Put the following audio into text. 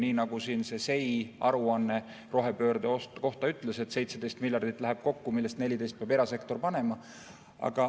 Nii nagu siin see SEI aruanne rohepöörde kohta ütles: 17 miljardit läheb kokku, millest 14 peab erasektor panema.